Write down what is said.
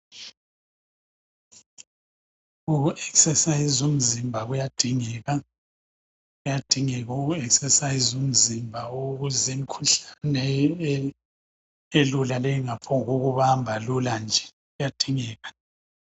Uku exerciser umzimba kuyadingeka , kuyadingeka uku exerciser umzimba ukuze imkhuhlane elula le ingaphongukubamba lula nje kuyadingeka